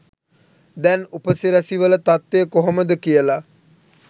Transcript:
දැන් උපසිරැසි වල තත්වය කොහොමද කියල